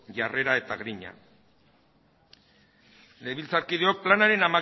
jarrera eta grina legebiltzarkideok planaren